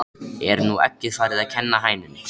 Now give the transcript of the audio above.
Er nú eggið farið að kenna hænunni?